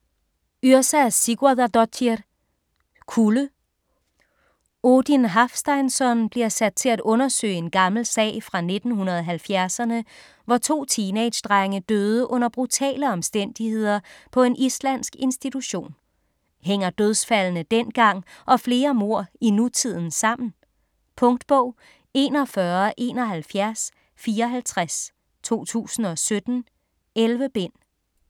Yrsa Sigurðardóttir: Kulde Odin Hafsteinsson bliver sat til at undersøge en gammel sag fra 1970'erne, hvor to teenagedrenge døde under brutale omstændigheder på en islandsk institution. Hænger dødsfaldene dengang og flere mord i nutiden sammen? Punktbog 417154 2017. 11 bind.